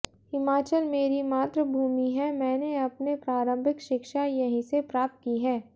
हिमाचल मेरी मातृ भूमि है मैंने अपने प्रारंभिक शिक्षा यहीं से प्राप्त की है